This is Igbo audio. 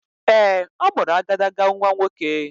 Ee, ọ mụrụ agadaga nnwa nwoke.